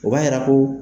O b'a yira ko